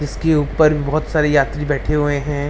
इसके ऊपर बहुत सारे यात्री बैठे हुए हैं।